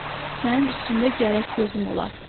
Sənin üstündə gərək gözüm ola.